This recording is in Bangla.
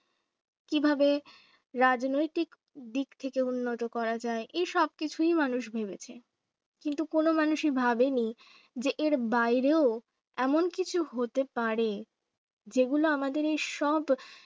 কিভাবে রাজনৈতিক দিক থেকে উন্নত করা যায় এই সব কিছুই মানুষ ভেবেছে । কিন্তু কোন মানুষই ভাবেনি যে এর বাইরেও এমন কিছু হতে পারে। যেগুলো আমাদের এইসব